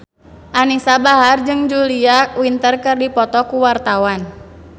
Anisa Bahar jeung Julia Winter keur dipoto ku wartawan